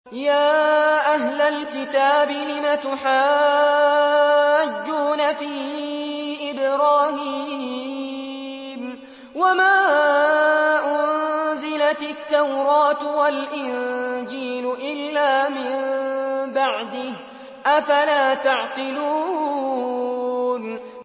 يَا أَهْلَ الْكِتَابِ لِمَ تُحَاجُّونَ فِي إِبْرَاهِيمَ وَمَا أُنزِلَتِ التَّوْرَاةُ وَالْإِنجِيلُ إِلَّا مِن بَعْدِهِ ۚ أَفَلَا تَعْقِلُونَ